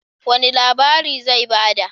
Wani labari zai ba da?